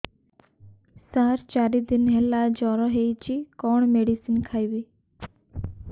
ସାର ଚାରି ଦିନ ହେଲା ଜ୍ଵର ହେଇଚି କଣ ମେଡିସିନ ଖାଇବି